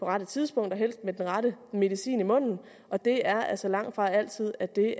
rette tidspunkt og helst med den rette medicin i munden og det er altså langtfra altid at det